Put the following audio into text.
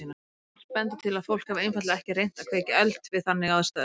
Margt bendir til að fólk hafi einfaldlega ekki reynt að kveikja eld við þannig aðstæður.